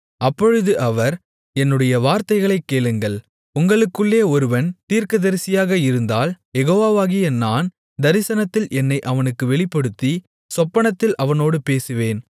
அப்பொழுது அவர் என்னுடைய வார்த்தைகளைக் கேளுங்கள் உங்களுக்குள்ளே ஒருவன் தீர்க்கதரிசியாக இருந்தால் யெகோவாவாகிய நான் தரிசனத்தில் என்னை அவனுக்கு வெளிப்படுத்தி சொப்பனத்தில் அவனோடு பேசுவேன்